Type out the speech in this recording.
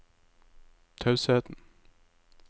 tausheten